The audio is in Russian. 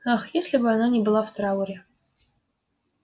ах если бы она не была в трауре